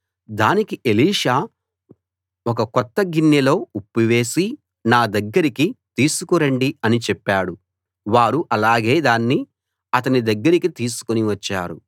దానికి ఎలీషా ఒక కొత్త గిన్నెలో ఉప్పు వేసి నా దగ్గరికి తీసుకు రండి అని చెప్పాడు వారు అలాగే దాన్ని అతని దగ్గరికి తీసుకుని వచ్చారు